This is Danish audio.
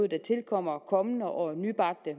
der tilkommer kommende og nybagte